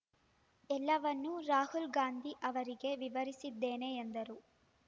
ಎಲ್ಲವನ್ನು ರಾಹುಲ್ ಗಾಂಧಿ ಅವರಿಗೆ ವಿವರಿಸಿದ್ದೇನೆ ಎಂದರು